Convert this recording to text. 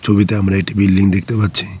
ছবিতে আমরা একটি বিল্ডিং দেখতে পাচ্ছি।